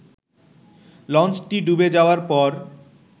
লঞ্চটি ডুবে যাওয়ার পর